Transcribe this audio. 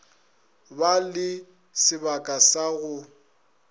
ba le sebaka sa go